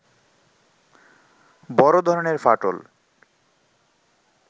বড় ধরনের ফাটল